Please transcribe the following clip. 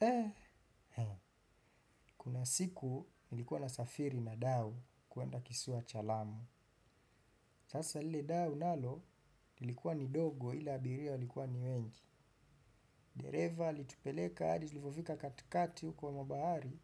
Eh kunasiku nilikuwa na safiri na dau kuenda kisiwa cha lamu. Sasa lile dau nalo lilikuwa ni dogo ila abiria alikuwa ni wengi. Direva alitupeleka hadi tulivofika katikati huko mwa bahari.